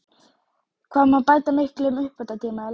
Hvað má bæta miklum uppbótartíma í leik?